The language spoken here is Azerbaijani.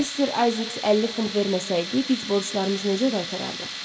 Mister Ayzeks 50 funt verməsəydi, biz borclarımızı necə qaytarardıq?